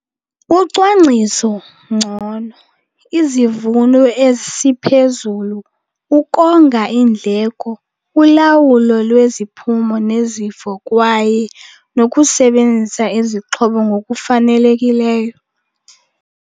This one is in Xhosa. Ucwangciso ngcono, izivuno esiphezulu, ukonga iindleko, ulawulo lweziphumo nezifo kwaye nokusebenzisa izixhobo ngokufanelekileyo.